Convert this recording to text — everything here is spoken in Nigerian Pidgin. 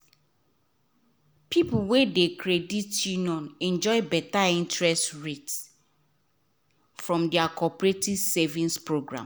people wey de credit union enjoy better interest rate from their cooperative savings program